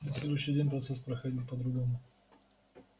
на следующий день процесс проходил по-другому